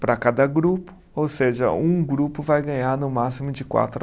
Para cada grupo, ou seja, um grupo vai ganhar no máximo de quatro a